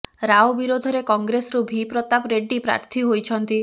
ରାଓ ବିରୋଧରେ କଂଗ୍ରେସରୁ ଭି ପ୍ରତାପ ରେଡ୍ଡୀ ପ୍ରାର୍ଥୀ ହୋଇଛନ୍ତି